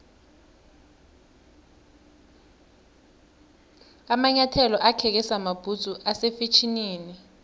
amanyathelo akheke samabhudzu ase fetjhenini